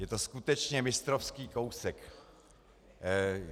Je to skutečně mistrovský kousek.